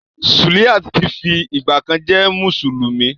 Suliat ti fi ìgbàkan jẹ́ mùsùlùmí.